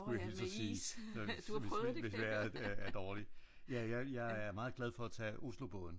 Nå ja med is du har prøvet det kan jeg høre.